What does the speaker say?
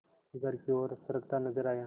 घर की ओर सरकता नजर आया